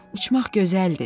Uçmaq gözəldir.